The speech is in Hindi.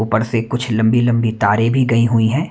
ऊपर से कुछ लंबी-लंबी तारें भी गई हुई हैं।